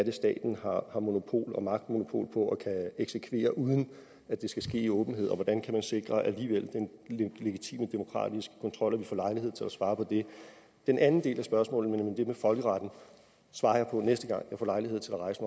er staten har monopol og magtmonopol på og kan eksekvere uden at det skal ske i åbenhed og hvordan kan sikre den legitime demokratiske kontrol og vi får lejlighed til at svare på det den anden del af spørgsmålet nemlig det med folkeretten svarer jeg på næste gang jeg får lejlighed til at rejse